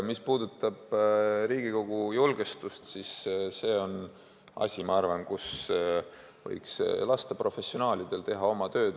Mis puudutab Riigikogu julgestust, siis see on asi, mille kohta ma arvan, et võiks lasta professionaalidel teha oma tööd.